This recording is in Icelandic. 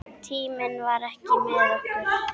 Tíminn vann ekki með okkur.